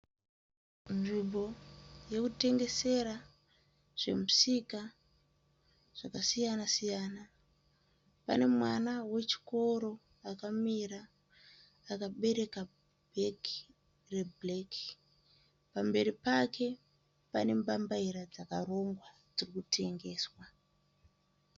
Nzvimbo yekutengesera zvemusika zvakasiyana siyana. Pane mwana wechikoro akamira akabereka bhegi rwebhureki. Pamberi pake pane mbambaira dzakarongwa dziri kutengeswa.